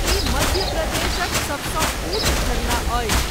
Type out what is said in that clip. ई मध्यप्रदेशक सभसँ ऊँच झरना अछि।